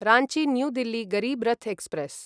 Ranchi new Delhi Garib Rath express